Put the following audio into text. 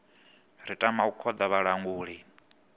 ri tama u khoḓa vhalanguli